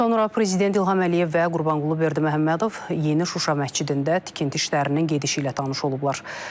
Sonra prezident İlham Əliyev və Qurbanqulu Berdiməhəmmədov Yeni Şuşa məscidində tikinti işlərinin gedişi ilə tanış olublar.